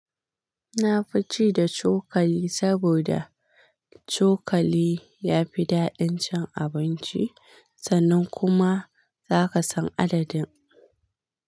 Na fi ci da cokali saboda cokali ya fi daɗin cin abinci sannan kuma zaka san adadin.